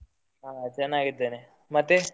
ಹಾ ಚೆನ್ನಾಗಿದ್ದೇನೆ ಮತ್ತೆ?